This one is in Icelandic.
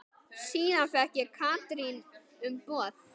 Síðan fékk Katrín umboð.